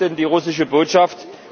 Was ist denn die russische Botschaft?